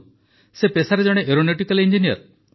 ସେ ପେସାରେ ଜଣେ ଏରୋନଟିକାଲ୍ ଇଂଜିନିୟର୍